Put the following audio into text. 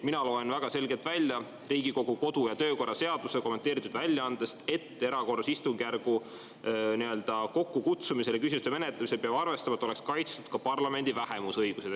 Mina loen väga selgelt välja Riigikogu kodu‑ ja töökorra seaduse kommenteeritud väljaandest, et erakorralise istungjärgu kokkukutsumisel ja küsimuste menetlemisel peab arvestama, et oleks kaitstud ka parlamendi vähemuse õigused.